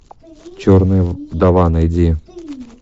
черная вдова найди